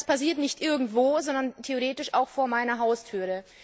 Und das passiert nicht irgendwo, sondern theoretisch auch vor meiner Haustür.